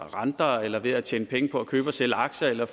renter eller ved at tjene penge på at købe og sælge aktier eller